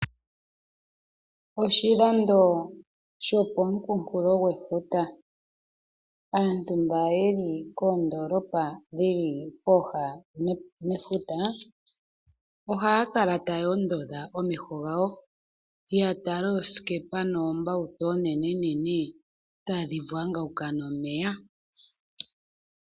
Oshilando shopomunkulofuta aantu mba yeli koondoolopa dhili pooha nefuta ohaya kala taya ondodha omeho gawo ya tala oosikepa noombautu onene nene tadhi vwangauka nomeya.